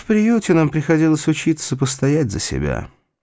в приюте нам приходилось учиться постоять за себя